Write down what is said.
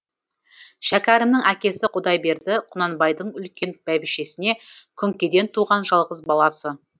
шәкәрімнің әкесі құдайберді құнанбайдың үлкен бәйбішесіне күңкеден туған жалғыз баласы